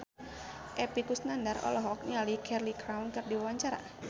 Epy Kusnandar olohok ningali Cheryl Crow keur diwawancara